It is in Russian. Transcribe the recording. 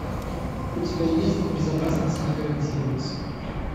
у тебя есть безопасность не гарантируется